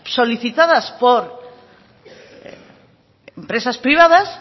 solicitadas por empresas privadas